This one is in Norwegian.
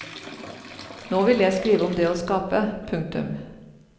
Nå ville jeg skrive om det å skape. punktum